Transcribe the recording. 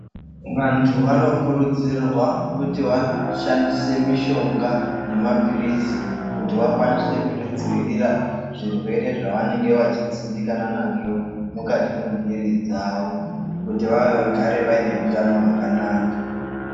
Vantu vanokurudzirwa kuti vashandise mishonga namapirizi kuti vakwanise kuzvidzivirira zvirwere zvavanenge vachidzimbikana nazvo mukati mwemwiri dzavo kuti vagare vaine hutano hwakanaka.